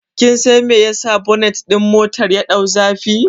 Kin san me yasa bonet ɗin motar ya ɗau zafi?